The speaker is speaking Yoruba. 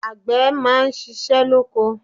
Àgbè máa ṣíṣe lóko.